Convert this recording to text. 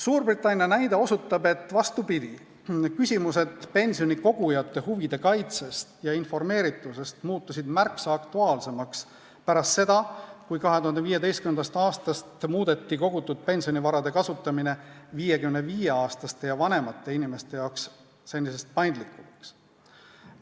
Suurbritannia näide osutab, et vastupidi, küsimused pensionikogujate huvide kaitstuse ja informeerituse kohta muutusid märksa aktuaalsemaks pärast seda, kui 2015. aastal muudeti kogutud pensionivarade kasutamine 55-aastaste ja vanemate inimeste jaoks senisest paindlikumaks.